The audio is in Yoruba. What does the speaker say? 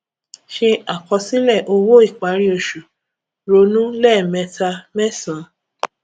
se àkọsílẹ owó ìparí oṣù ronú lẹẹmẹta mẹsan